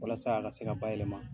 Walasa a ka se ka bayɛlɛma.